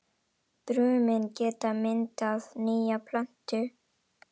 Brumin geta myndað nýja plöntu.